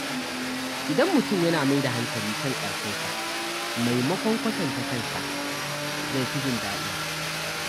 Idan mutum yana mai da hankali kan karfinsa maimakon kwatanta kansa, zai fi jin daɗi.